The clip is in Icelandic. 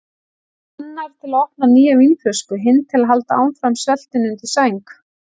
Annar til að opna nýja vínflösku, hinn til að halda áfram sveltinu undir sæng.